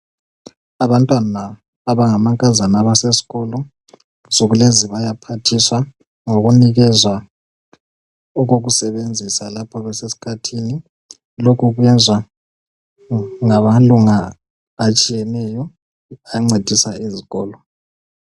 Abantwana abangamankazana abasesikolo insuku lezi bayaphathiswa ngokunikezwa okokusebenzisa lapho besesikhathini .Lokhu kuyenzwa ngamalunga atshiyeneyo ancedisa izikolo.